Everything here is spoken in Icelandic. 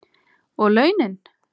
Og launin?